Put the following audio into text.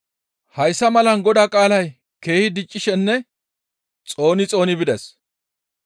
Hayssa malan Godaa qaalay keehi diccishenne xooni xooni bides.